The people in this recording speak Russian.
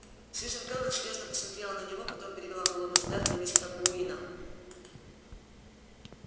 сьюзен кэлвин серьёзно посмотрела на него потом перевела холодный взгляд на мистера куинна